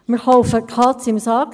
Wir kaufen die Katze im Sack.